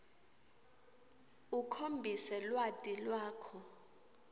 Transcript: ukhombise lwati lwakho